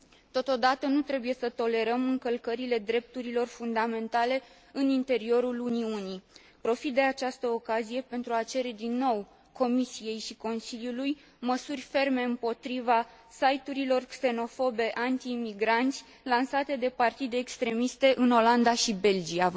Totodată, nu trebuie să tolerăm încălcările drepturilor fundamentale în interiorul Uniunii. Profit de această ocazie pentru a cere din nou Comisiei și Consiliului măsuri ferme împotriva siturilor xenofobe antiimigranți lansate de partide extremiste în Olanda și Belgia.